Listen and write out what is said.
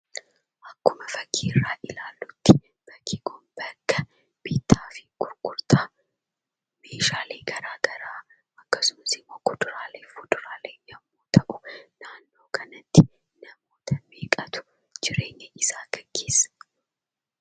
Akkuma fakkiirra ilaallutti bakki kun bakka bitta fi gurgurtaa meeshaalee garaagaraa akkasumas, kuduraalee fi muduraalee yemmu ta'u naannoo kanatti namoota meeqatu jireenya isaa geggeessa?